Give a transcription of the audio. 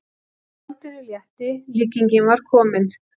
Skáldinu létti, líkingin var komin.